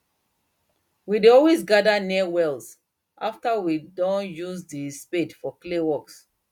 we dey always gather near wells after we doh use the spade for clay works